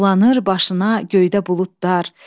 Dolanır başına göydə buludlar,